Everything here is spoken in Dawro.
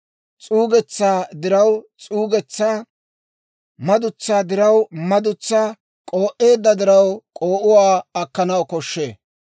s'uugetsaa diraw s'uugetsaa, madutsaa diraw madutsaa, k'oo'eedda diraw k'oo'uwaa akkanaw koshshee.